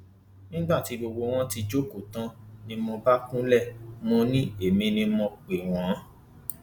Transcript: nígbà tí gbogbo wọn ti jókòó tán ni mo bá kúnlẹ mọ ni èmi ni mo pè wọn